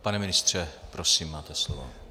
Pane ministře, prosím, máte slovo.